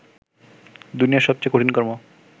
দুনিয়ার সবচেয়ে কঠিন কর্ম